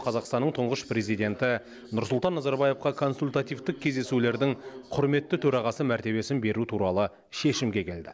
қазақстанның тұңғыш президенті нұрсұлтан назарбаевқа консультативтік кездесулердің құрметті төрағасы мәртебесін беру туралы шешімге келді